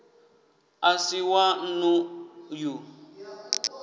a si wa nnḓu ya